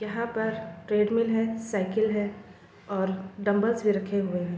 यहाँ पर ट्रेडमिल है साइकिल है और डंबल्स भी रखे हुए हैं।